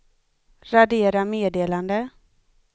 radera meddelande